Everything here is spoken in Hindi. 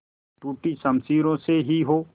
टूटी शमशीरों से ही हो